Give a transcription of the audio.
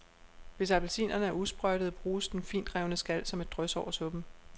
Hvis appelsinerne er usprøjtede, bruges den fintrevne skal som et drys over suppen.